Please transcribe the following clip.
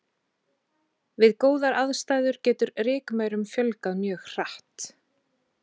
Við góðar aðstæður getur rykmaurum fjölgað mjög hratt.